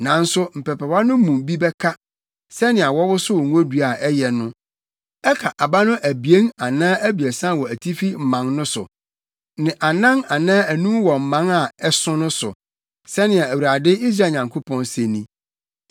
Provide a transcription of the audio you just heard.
Nanso mpɛpɛwa no mu bi bɛka, sɛnea wɔwosow ngodua a ɛyɛ no, ɛka aba no abien anaa abiɛsa wɔ atifi mman no so, ne anan anaa anum wɔ mman a ɛso no so,” sɛnea Awurade, Israel Nyankopɔn se ni.